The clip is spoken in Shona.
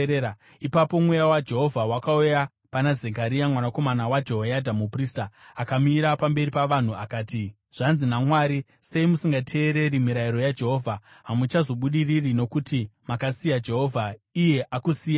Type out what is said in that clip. Ipapo mweya waJehovha wakauya pana Zekaria, mwanakomana waJehoyadha muprista. Akamira pamberi pavanhu akati, “Zvanzi naMwari, ‘Sei musingateereri mirayiro yaJehovha? Hamusi kuzobudirira. Nokuti makasiya Jehovha, iye akusiyaiwo.’ ”